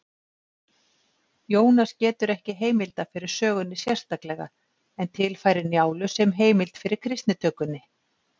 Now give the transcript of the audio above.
Jónas getur ekki heimilda fyrir sögunni sérstaklega en tilfærir Njálu sem heimild fyrir kristnitökunni.